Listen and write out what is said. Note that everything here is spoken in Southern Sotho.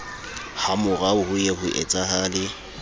hamorao ho ye ho etsahale